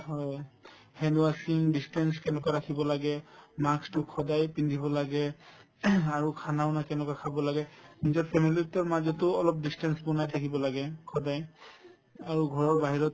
হয়, hand washing, distance কেনেকুৱা ৰাখিব লাগে mask তো সদায় পিন্ধিব লাগে আৰু khana ও না কেনেকুৱা খাব লাগে নিজৰ family তোৰ মাজতো অলপ distance বনাই থাকিব লাগে সদায় আৰু ঘৰৰ বাহিৰত